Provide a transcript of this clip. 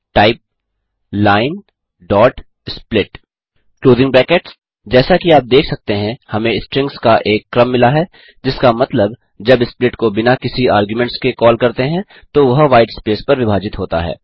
type linesplit जैसा कि आप देख सकते हैं हमें स्ट्रिंग्स का एक क्रम मिला है जिसका मतलब जब स्प्लिट को बिना किसी आर्ग्यूमेंट्स के कॉल करते हैं तो वह व्हाईट स्पेस पर विभाजित होता है